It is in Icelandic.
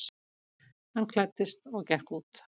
Hann klæddist og gekk út.